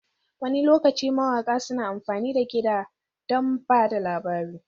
Wani lokaci mawaƙa suna amfani da kiɗa don ba da labari.